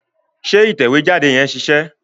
Ṣé ìtẹ̀wé jáde yẹn ṣiṣẹ́?